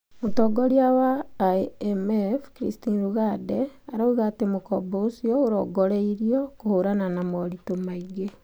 Mũtongoria wa IMF, Christine Lagarde, arauga atĩ mũkombo ũcio ũrongoreirio kũhũrana na moritũ maingĩ.